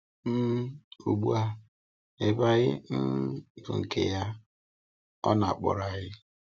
um Ugbu a, ebe anyị um bụ nke ya, ọ na-akpọrọ anyị.